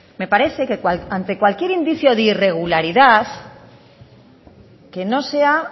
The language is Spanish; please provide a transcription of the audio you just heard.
me parece que ante cualquier indicio de irregularidad que no sea